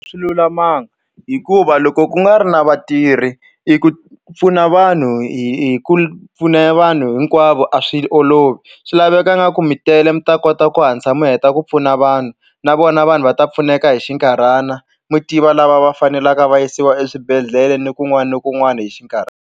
Swi lulamanga hikuva loko ku nga ri na vatirhi i ku pfuna vanhu hi hi ku pfuna vanhu hinkwavo a swi olovi swi laveka ingaku mi tele mi ta kota ku hatlisa mi heta ku pfuna vanhu na vona vanhu va ta pfuneka hi xinkarhana mi tiva lava va faneleka va yisiwa eswibedhlele ni kun'wana na kun'wana hi .